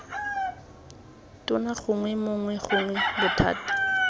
tona gongwe mongwe gongwe bothati